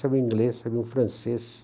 Sabiam inglês, sabiam francês.